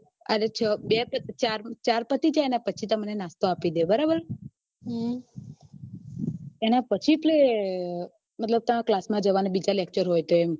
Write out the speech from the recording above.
ચાર પતિ જાય પછી તમને નાસ્તો આપે ડે બરાબર એના પછી એટલે મતલબ કે તમારે class માં જવાનું અને બીજા lecture હોય તો એમ